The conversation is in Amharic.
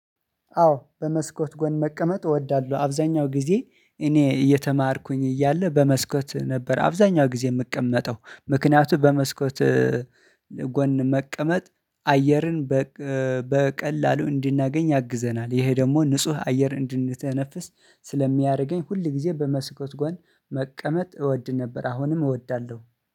አዎ በመስኮት ጎን መቀመጥ አወዳለሁ አብዛኛውን ጊዜ እኔ እየተማርኩኝ እያለሁ በመስኮት ነበር አብዛኛውን ጊዜ የምቀመጠው ምክንያቱም በመስኮት ጎን መቀመጥ አየርን በቀላሉ እንድናገኝ ያግዘናል። ይሄ ደግሞ ንጹህ አየር እንድተነፍስ ስለሚያደርገኝ ሁል ጊዜ በመስኮት ጎን መቀመጥ እወድ ነበር አሁንም እወዳለሁ